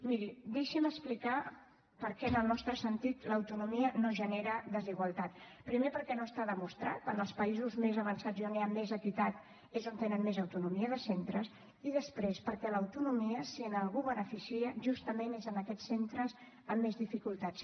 miri deixi’m explicar per què en el nostre sentit l’autonomia no genera desigualtat primer perquè no està demostrat en els països més avançats i on hi ha més equitat és on tenen més autonomia de centres i després perquè l’autonomia si a algú beneficia justament és a aquests centres amb més dificultats